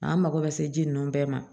An mako bɛ se ji ninnu bɛɛ ma